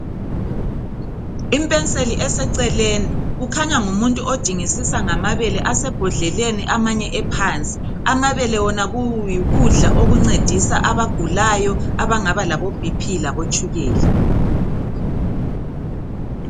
Impenseli eseceleni kukhanya ngumuntu odingisisa ngamabele asebhodleleni amanye ephansi. Amabele wona yikudla okuncedisa abagulayo abangaba labobp labotshukela.